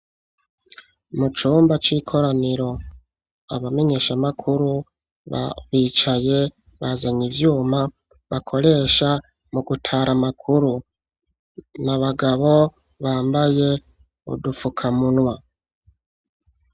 Mu cumba c'ikoraniro abamenyeshamakuru ba bicaye bazanye ivyuma bakoresha mu gutara amakuru n'abagabo bambaye udufukamunwa.